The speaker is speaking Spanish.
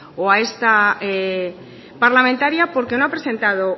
o a esta parlamentaria porque no ha presentado